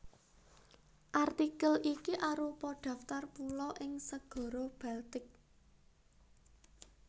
Artikel iki arupa daftar pulo ing Segara Baltik